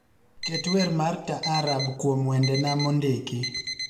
ket wer mar taarab kuom wendena mondiki